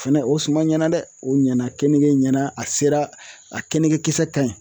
Fɛnɛ o suman ɲɛna dɛ o ɲɛna keninge ɲɛna a sera a keninge kisɛ kaɲi